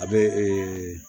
A bɛ ee